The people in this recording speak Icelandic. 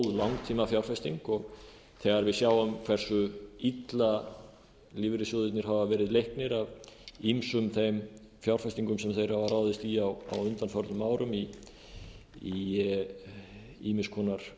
langtímafjárfesting og þegar við sjáum hversu illa lífeyrissjóðirnir hafa verið leiknir af ýmsum þeim fjárfestingum sem þeir hafa ráðist í á undanförnum árum í ýmiss konar